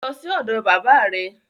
Lọ sí ọ̀dọ̀ bàbá rẹ